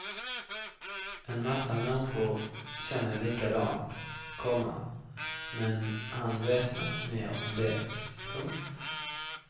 En massa människor känner likadant, komma men han väsnas mer om det. punkt